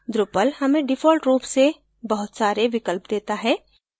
drupal हमें default रूप से बहुत सारे विकल्प देता है